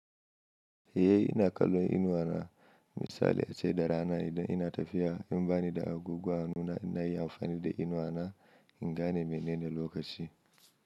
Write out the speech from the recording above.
Eh ina kallon inuwa na. Misali ace da rana idan ina tafiya in bani da abubuwa nima inayin amfani da inuwa na in gane menene lokaci.